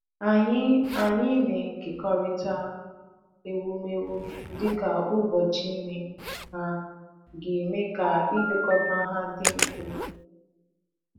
Anyị Anyị na-ekekọrịta ewumewụ dịka ụbọchị ime ha ga-eme ka ilekọta ha dị mfe.